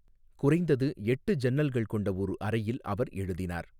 குறைந்தது எட்டு ஜன்னல்கள் கொண்ட ஒரு அறையில் அவர் எழுதினார்.